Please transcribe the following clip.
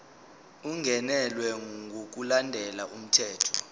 ungenelwe ngokulandela umthetho